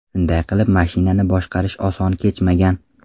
Shunday qilib, mashinani boshqarish oson kechmagan.